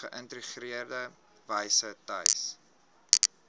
geïntegreerde wyse tuis